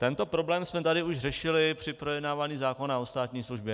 Tento problém jsme tady už řešili při projednávání zákona o státní službě.